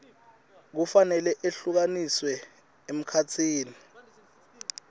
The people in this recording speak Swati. kufanele ehlukaniswe emkhatsini